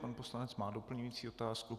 Pan poslanec má doplňující otázku.